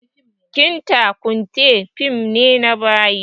Kinta kunte fim ne na bayi